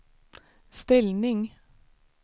ställning